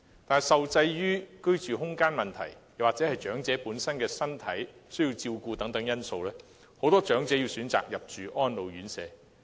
但是，受制於居住空間或長者本身的身體狀況、需要照顧等因素，很多長者需要入住安老院舍。